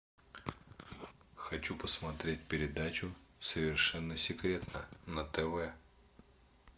хочу посмотреть передачу совершенно секретно на тв